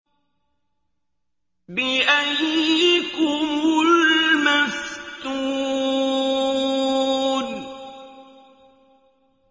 بِأَييِّكُمُ الْمَفْتُونُ